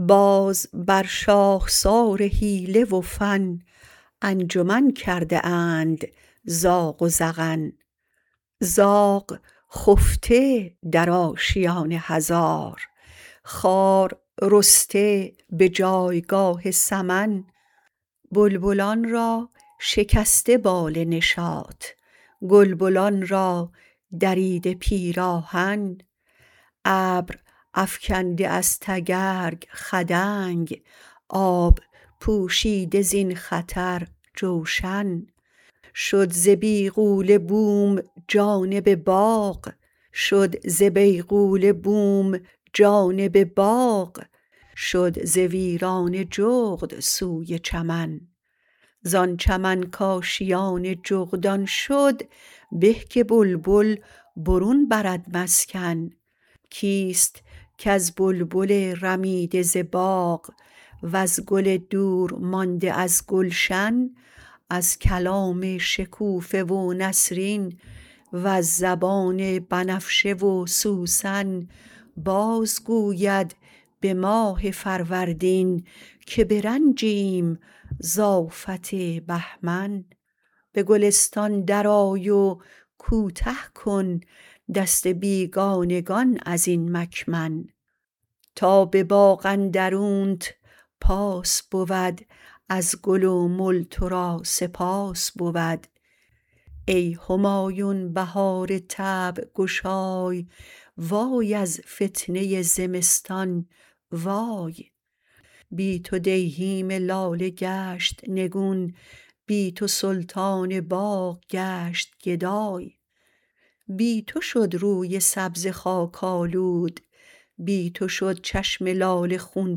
باز بر شاخسار حیله و فن انجمن کرده اند زاغ و زعن زاغ خفته در آشیان هزار خار رسته به جایگاه سمن بلبلان را شکسته بال نشاط گلبنان را دریده پیراهن ابر افکنده از تگرگ خدنگ آب پوشیده زین خطر جوشن شد ز بیغوله بوم جانب باغ شد ز ویرانه جغد سوی چمن زان چمن کاشیان جغدان شد به که بلبل برون برد مسکن کیست کز بلبل رمیده ز باغ وز گل دور مانده از گلشن از کلام شکوفه و نسرین وز زبان بنفشه و سوسن باز گوید به ماه فروردین که به رنجیم ز آفت بهمن به گلستان درآی و کوته کن دست بیگانگان از این مکمن تا به باغ اندرونت پاس بود از گل و مل تو را سپاس بود ای همایون بهار طبع گشای وای از فتنه زمستان وای بی تو دیهیم لاله گشت نگون بی تو سلطان باغ گشت گدای بی تو شد روی سبزه خاک آلود بی تو شد چشم لاله خون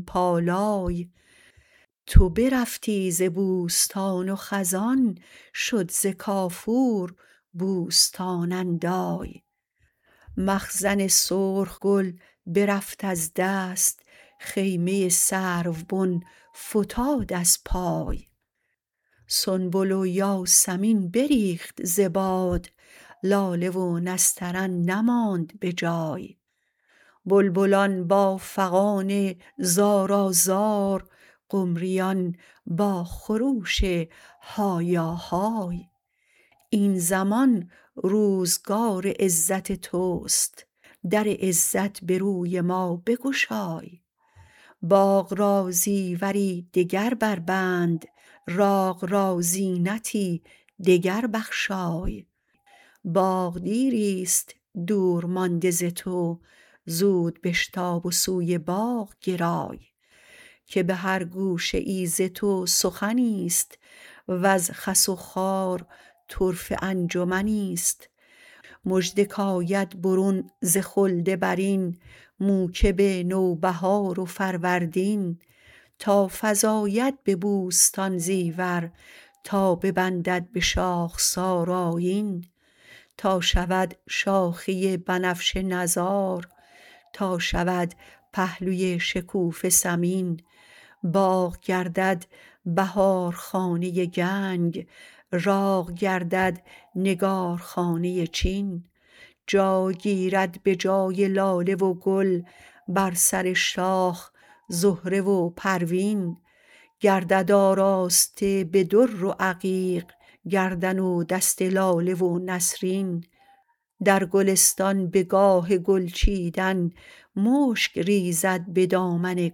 پالای تو برفتی ز بوستان و خزان شد زکافور بوستان اندای مخزن سرخ گل برفت از دست خیمه سرو بن فتاد از پای سنبل و یاسمین بریخت ز باد لاله و نسترن نماند به جای بلبلان با فغان زارا زار قمریان با خروش هایا های این زمان روزگار عزت تو است در عزت به روی ما بگشای باغ را زیوری دگر بربند راغ را زینتی دگر بخشای باغ دیریست دور مانده ز تو زود بشتاب و سوی باغ گرای که به هر گوشه ای ز تو سخنی است وز خس و خار طرفه انجمنی است مژده کاید برون ز خلد برین موکب نو بهار و فروردین تا فزاید به بوستان زیور تا ببندد به شاخسار آیین تا شود شاخه بنفشه نزار تا شود پهلوی شکوفه سمین باغ گردد بهار خانه گنگ راغ گردد نگارخانه چین جای گیرد به جای لاله و گل بر سر شاخ زهره و پروین گردد آراسته به در و عقیق گردن و دست لاله و نسرین در گلستان به گاه گل چیدن مشگ ریزد به دامن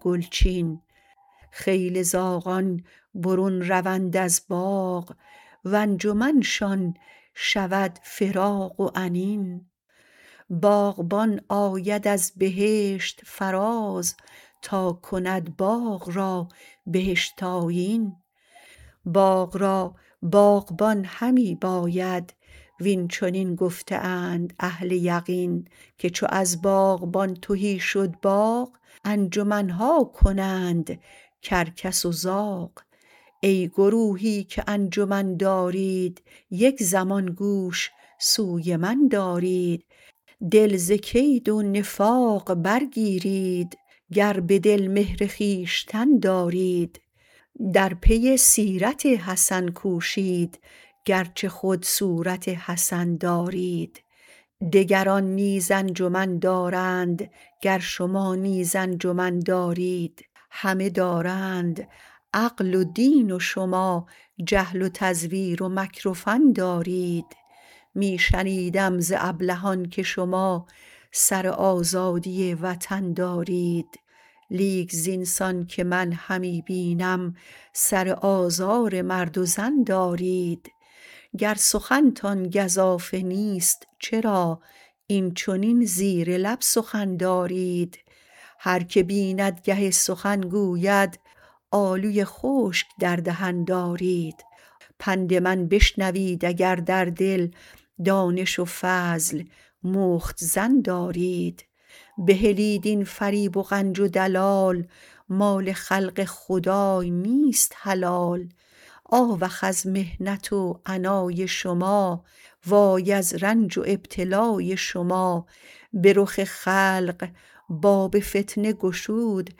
گلچین خیل زاغان برون روند از باغ و انجمنشان شود فراق و انین باغبان آید از بهشت فراز تا کند باغ را بهشت آیین باغ را باغبان همی باید واین چنین گفته اند اهل یقین که چو از باغبان تهی شد باغ انجمن ها کنند کرکس و زاغ ای گروهی که انجمن دارید یک زمان گوش سوی من دارید دل ز کید و نفاق برگیرید گر به دل مهر خویشتن دارید در پی سیرت حسن کوشید گرچه خود صورت حسن دارید دگران نیز انجمن دارند گر شما نیز انجمن دارید همه دارند عقل و دین و شما جهل و تذویر و مکر و فن دارید می شنیدم ز ابلهان که شما سر آزادی وطن دارید لیک زینسان که من همی بینم سر آزار مرد و زن دارید گر سخنتان گزافه نیست چرا اینچنین زبر لب سخن دارید هرکه بیند گه سخن گوید آلوی خشک در دهن دارید پند من بشنوید اگر در دل دانش و فضل مختزن دارید بهلید این فریب و غنج و دلال مال خلق خدای نیست حلال آوخ از محنت و عنای شما وای از رنج و ابتلای شما به رخ خلق باب فتنه گشود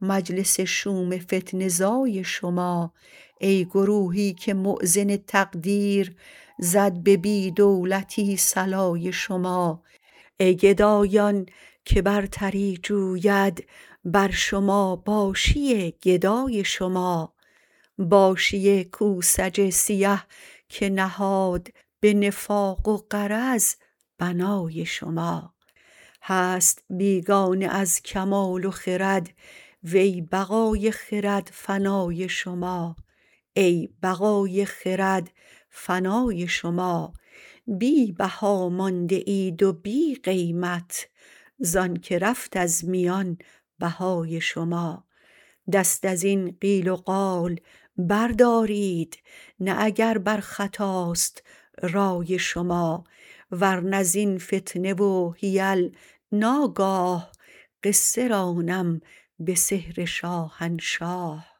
مجلس شوم فتنه زای شما ای گروهی که مؤذن تقدیر زد به بی دولتی صلای شما ای گدایان که برتری جوید بر شما باشی گدای شما باشی کوسج سیه که نهاد به نفاق و غرض بنای شما هست بیگانه از کمال و خرد وی بقای خرد فنای شما بی بها مانده اید و بی قیمت زانکه رفت از میان بهای شما دست از این قیل و قال بردارید نه اگر بر خطاست رای شما ورنه زین فتنه و حیل ناگاه قصه رانم به صهر شاهنشاه